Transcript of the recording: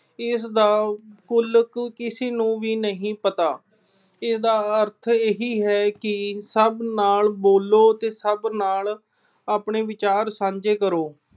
ਇਸਦਾ ਦਾ ਤਾਅਲੁੱਕ ਕਿਸੇ ਨੂੰ ਵੀ ਨਹੀਂ ਪਤਾ। ਇਸਦਾ ਅਰਥ ਇਹੀ ਹੈ ਕਿ ਸਭ ਨਾਲ ਬੋਲੋ ਤੇ ਸਭ ਨਾਲ ਆਪਣੇ ਵਿਚਾਰ ਸਾਂਝੇ ਕਰੋ।